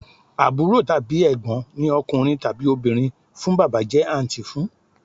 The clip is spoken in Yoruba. Àbúrò tàbí Ẹ̀gbọ́n ní ọkùnrin tàbí obìnrin fún Bàbá jẹ́ àǹtí fún